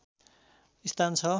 स्थान छ